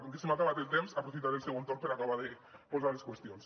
com que se m’ha acabat el temps aprofitaré el segon torn per acabar d’exposar les qüestions